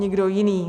Nikdo jiný.